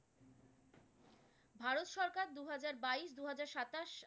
দু হাজার বাইশ, দু হাজার সাতাশ